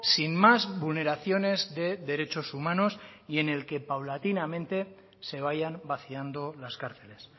sin más vulneraciones de derechos humanos y en el que paulatinamente se vayan vaciando las cárceles